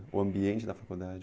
O ambiente da faculdade?